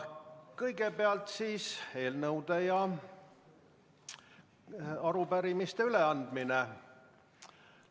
Kõigepealt on eelnõude ja arupärimiste üleandmine.